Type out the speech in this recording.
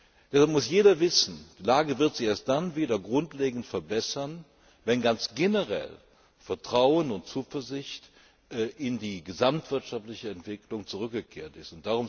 Jeder muss wissen, dass sich die Lage erst dann wieder grundlegend verbessern wird, wenn ganz generell Vertrauen und Zuversicht in die gesamtwirtschaftliche Entwicklung zurückgekehrt ist.